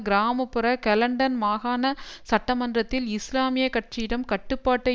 கிராம புற கெலன்டன் மாகாண சட்டமன்றத்தில் இஸ்லாமிய கட்சியிடம் கட்டுப்பாட்டை